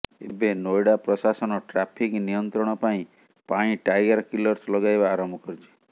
ଏବେ ନୋଏଡ଼ା ପ୍ରଶାସନ ଟ୍ରାଫିକ ନିୟନ୍ତ୍ରଣ ପାଇଁ ପାଇଁ ଟାୟାର କିଲର୍ସ ଲଗାଇବା ଆରମ୍ଭ କରିଛି